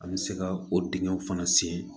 An bɛ se ka o dingɛw fana sen